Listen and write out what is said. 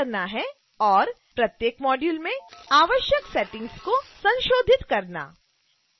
प्रत्येक module में आवश्यक सेटिंग्स को संशोधित करना